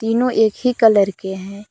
तीनों एक ही कलर के हैं।